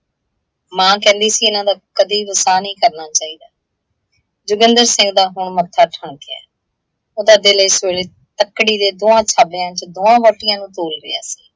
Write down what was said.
ਮਾਂ ਕਹਿੰਦੀ ਸੀ ਇਹਨਾਂ ਦਾ ਕਦੇ ਵਸਾਹ ਨਹੀਂ ਕਰਣਾ ਚਾਹੀਦਾ। ਜੋਗਿੰਦਰ ਸਿੰਘ ਦਾ ਹੁਣ ਮੱਥਾ ਠਣਕਿਆ ਏ। ਉਹਦਾ ਦਿਲ ਇਸ ਵੇਲੇ ਤਕੜੀ ਦੇ ਦੋਆਂ ਥੈਲਿਆਂ ਚ ਦੋਹਾ ਵਹੁਟੀਆਂ ਨੂੰ ਤੋਲ ਰਿਹਾ ਸੀ।